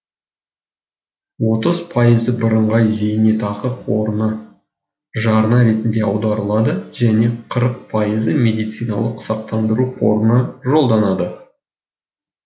отыз пайызы бірыңғай зейнетақы қорына жарна ретінде аударылады және қырық пайызы медициналық сақтандыру қорына жолданады